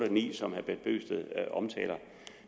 og ni som herre bent bøgsted omtaler